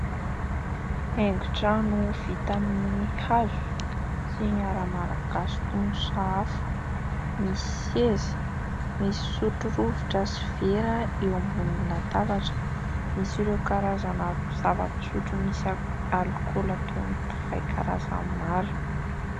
Haingon-trano vita amin'ny hazo sy ny ara malagasy toy ny sahafa. Misy seza, misy sotro rovitra sy vera eo ambonin'ny latabatra. Misy ireo karazana zava-pisotro misy alikaola toy ny divay karazany maro.